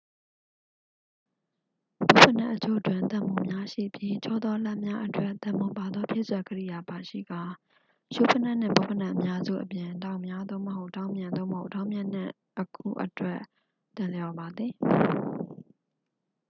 ဘွတ်ဖိနပ်အချို့တွင် သံမှိုများ ရှိပြီး ချောသော လမ်းများအတွက် သံမှိုပါသော ဖြည့်စွက်ကိရိယာ ပါရှိကာ ရှူးဖိနပ်နှင့် ဘွတ်ဖိနပ်အများစုအပြင် ဒေါက်များ သို့မဟုတ် ဒေါက်မြင့် သို့မဟုတ် ဒေါက်မြင့်နှင့် အခု အတွက် သင့်လျော်ပါသည်